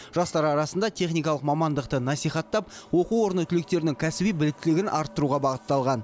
жастар арасында техникалық мамандықты насихаттап оқу орны түлектерінің кәсіби біліктілігін арттыруға бағытталған